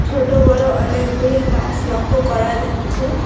ছোট বড়ো অনেকগুলি গাস লক্ষ্য করা যাচ্ছে।